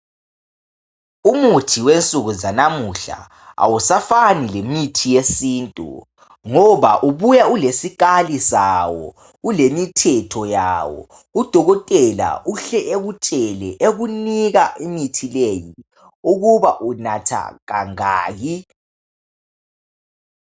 Umuthi wensuku zanamuhla awusafani lemithi yesintu ,ngoba ubuya ulesikali sawo. Ulemithetho yawo ,udokotela uhle ekutshele ekunika imithi leyi .Ukuba unatha kangaki.